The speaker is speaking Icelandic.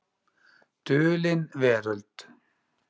Dulin veröld.